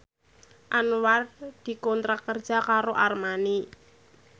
Anwar dikontrak kerja karo Armani